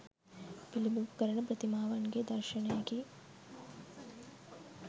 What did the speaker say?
පිළිබිඹු කරන ප්‍රතිමාවන්ගේ දර්ශනයකි.